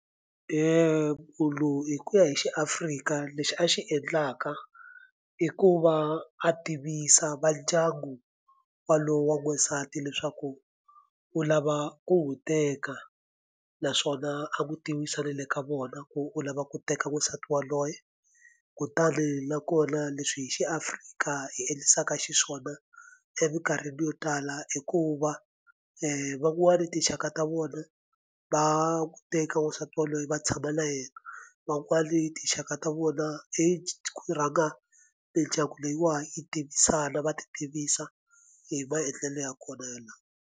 hi ku ya hi xi Afrika lexi a xi endlaka i ku va a tivisa va ndyangu walowo wa n'wansati leswaku u lava ku wu teka naswona a n'wi tiyimisele le ka vona ku u lava ku teka wansati wa loye kutani na kona leswi hi xi Afrika hi endlisaka xiswona emikarhini yo tala i ku va van'wani tinxaka ta vona va n'wi teka n'wansati waloye va tshama na yena van'wani tinxaka ta vona i rhanga mindyangu leyiwani yi tivisana va ti tivisa hi maendlelo ya kona yalawa.